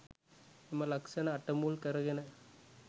එම ලක්‍ෂණ අට මුල් කරගෙන